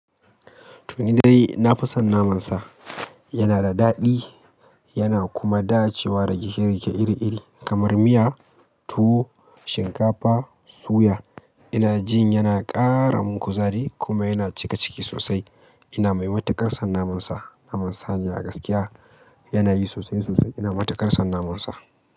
To nidai yai, na fi son naman sa. Yana da daɗi yana kuma dacewa da gike-gike iri-iri kamar miya, tuwo, shinkafa, suya. Ina jin yana ƙara min kuzari kuma yana cika ciki sosai. Ina maimata karsan naman sa. Naman saniya a gaskiya yana yi sosai sosai. Ina mata karsan naman sa.